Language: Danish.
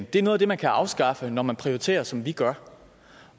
det er noget af det man kan afskaffe når man prioriterer som vi gør